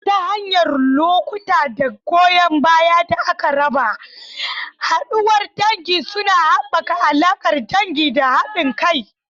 Ta hanyar lokuta da goyan baya da aka raba, haduwar dangi suna haɓaka alaƙar dangi da haɗin kai.